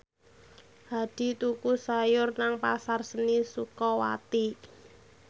Hadi tuku sayur nang Pasar Seni Sukawati